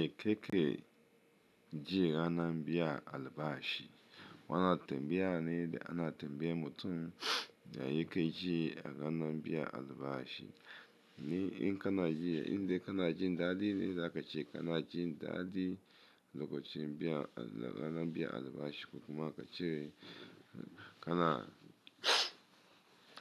Eh keke ji ranar biyan albashi. Wato tanbayane ana tanbayar mutum ya yake ji a ranar biyan albashi. Ni in kana yi, in dai kana jin daɗi ne za ka ce kana jin daɗi lokacin biya, ranar biyan albashi. Ko kuma ka ce kana,